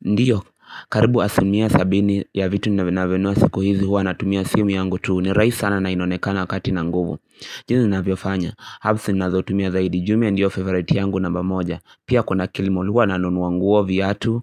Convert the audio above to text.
Ndio, karibu asilimia sabini ya vitu ninavyonunua siku hizi huwa natumia simu yangu tu. Ni rahisi sana na inonekana kati na nguvu jinsi ninavyofanya, apps nazotumia zaidi jumia ndiyo favorite yangu namba moja. Pia kuna kilimall. Huwa nanunua nguo, viatu